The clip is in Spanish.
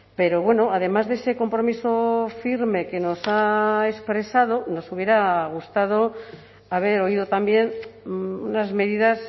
pero bueno además de ese compromiso firme que nos ha expresado nos hubiera gustado haber oído también unas medidas